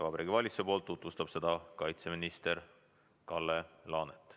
Vabariigi Valitsuse nimel tutvustab seda kaitseminister Kalle Laanet.